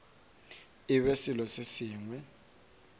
e be selo se sengwe